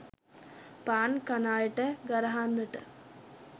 පාන් කන අයට ගරහන්නට